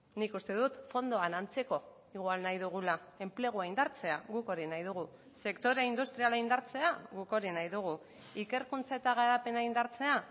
nik uste dut fondoan antzeko igual nahi dugula enplegua indartzea guk hori nahi dugu sektore industriala indartzea guk hori nahi dugu ikerkuntza eta garapena indartzea